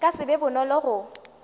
ka se be bonolo go